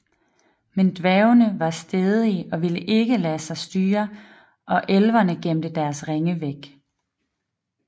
Men dværgene var stædige og ville ikke lade sig styre og elverne gemte deres ringe væk